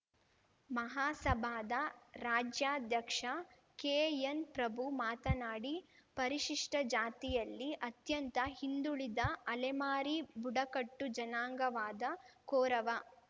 ಮಹಾಸಭಾದ ರಾಜ್ಯಾಧ್ಯಕ್ಷ ಕೆಎನ್‌ಪ್ರಭು ಮಾತನಾಡಿ ಪರಿಶಿಷ್ಟಜಾತಿಯಲ್ಲಿ ಅತ್ಯಂತ ಹಿಂದುಳಿದ ಅಲೆಮಾರಿ ಬುಡಕಟ್ಟು ಜನಾಂಗವಾದ ಕೋರವ